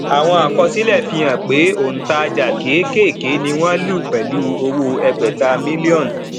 àwọn àkọsílẹ fihàn pé òǹtajà kékèké ni wọn lù pẹlú owó ẹgbèta mílíònù